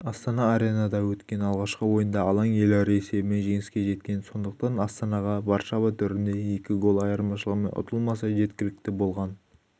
астана аренада өткен алғашқы ойында алаң иелері есебімен жеңіске жеткеі сондықтан астанаға варшава төрінде екі гол айырмашылығымен ұтылмаса жеткілікті болған